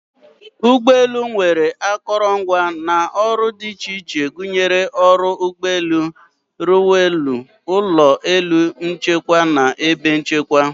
ụgbọ elu nwere akụrụngwa na ọrụ dị iche iche gụnyere oru ụgbọ elu, runwaylu, ụlọ elu njikwa na ebe nchekwa.